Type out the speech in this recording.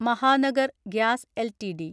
Mahanagar gas LTD